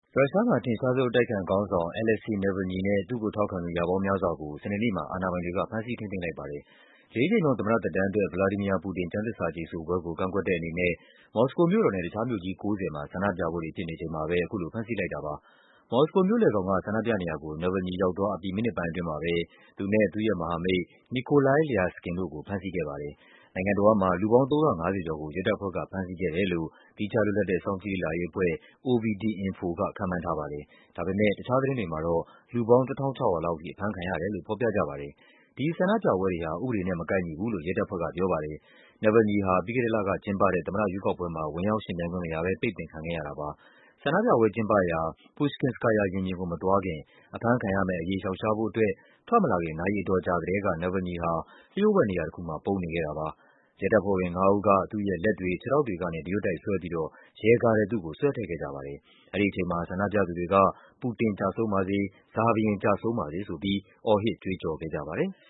ရုရှားမှာ အထင်ရှားဆုံး အတိုက်အခံခေါင်းဆောင် Alexei Navalny နဲ့ သူ့ကိုထောက်ခံသူ ရာပေါင်းများစွာကို စနေနေ့မှာ အာဏာ ပိုင်တွေက ဖမ်းဆီး ထိန်းသိမ်းလိုက်ပါတယ်။ လေးကြိမ်မြောက် သမ္မတသက်တမ်းအတွက် ဗလာဒီမီယာ ပူတင် ကျမ်းသစ္စာကျိန် ဆိုပွဲကို ကန့်ကွက်တဲ့အနေနဲ့ မော်စကိုမြို့တော်နဲ့ တခြားမြို့ကြီး ၉၀ မှာ ဆန္ဒပြပွဲတွေ ဖြစ်နေချိန် မှာပဲ အခုလို ဖမ်းဆီးလိုက်တာပါ။ မော်စကိုမြို့လည်ခေါင်က ဆန္ဒပြနေရာကို Navalny ရောက်သွားအပြီး မိနစ်ပိုင်းအတွင်း မှာပဲ သူနဲ့ သူ့ရဲ့မဟာမိတ် Nikolai Lyaskin တို့ကို ဖမ်းဆီးခဲ့ပါတယ်။ နိုင်ငံတဝန်းမှာ လူပေါင်း ၃၅၀ ကျော်ကို ရဲတပ်ဖွဲ့က ဖမ်းဆီးခဲ့တယ်လို့ သီးခြားလွတ်လပ်တဲ့ စောင့်ကြည့်လေ့လာရေးအဖွဲ့ OVD-Info က ခန့်မှန်းထားပါတယ်။ ဒီဆန္ဒပြပွဲတွေဟာ ဥပဒေနဲ့မကိုက်ညီဘူးလို့ ရဲတပ်ဖွဲ့က ပြောပါတယ်။ Navalny ဟာ ပြီးခဲ့တဲ့လကကျင်းပတဲ့ သမ္မတရွေးကောက်ပွဲမှာ ဝင်ရောက်ယှဉ်ပြိုင်ခွင့် မရဘဲ ပိတ်ပင်ခံခဲ့ရတာပါ။ ဆန္ဒပြပွဲကျင်းပရာ Pushkinskaya ရင်ပြင်ကို မသွားခင် အဖမ်းခံရမယ့်အရေး ရှောင်ရှားဖို့အတွက် ထွက်မလာခင် နာရီအတော်ကြာကတည်းက Navalny ဟာ လျှို့ဝှက်နေရာတခုမှာ ပုန်းအောင်းနေခဲ့တာပါ။ ရဲတပ်ဖွဲ့ဝင်ငါးဦးက သူ့ရဲ့လက်တွေ၊ ခြေထောက်တွေကနေ တရွတ်တိုက်ဆွဲပြီးတော့ ရဲကားထဲ သူ့ကို ဆွဲထည့်ခဲ့ကြပါတယ်။ အဲဒီအချိန်မှာ ဆန္ဒပြသူတွေက “ပူတင် ကျဆုံးပါစေ” “Tsar ဘုရင် ကျဆုံးပါစေ” ဆိုပြီး အော်ဟစ် ကြွေးကျော်ခဲ့ကြပါတယ်။